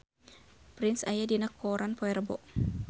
Prince aya dina koran poe Rebo